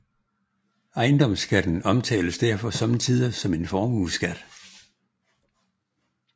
Ejendomsværdiskatten omtales derfor sommetider som en formueskat